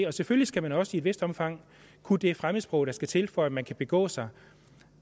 og selvfølgelig skal man også i et vist omfang kunne det fremmedsprog der skal til for at man kan begå sig